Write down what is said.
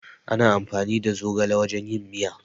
Ana amfani da zogale wajen yin miya